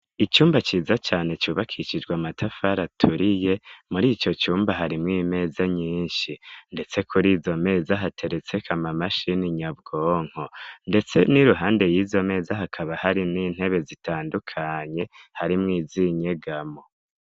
Icumba ciza cane cubakishijwa amatafara aturiye muri ico cumba harimwo imeza nyinshi, ndetse kuri izo meza hateretseka amamashini nyabwonko, ndetse n'i ruhande y'izo meza hakaba harimwo intebe zitandukanye harimwo iz inyegamo.